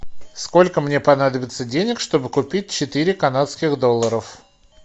сколько мне понадобится денег чтобы купить четыре канадских долларов